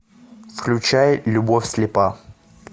включай любовь слепа